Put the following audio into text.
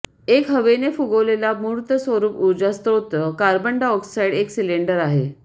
एक हवेने फुगवलेला मूर्त स्वरूप ऊर्जा स्रोत कार्बन डाय ऑक्साइड एक सिलेंडर आहे